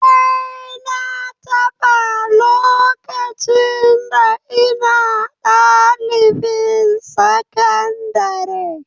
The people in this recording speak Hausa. Eh, na taɓa, lokacin da ina ɗalibin sakandare